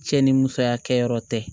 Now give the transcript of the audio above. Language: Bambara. Cɛ ni musoya kɛyɔrɔ tɛ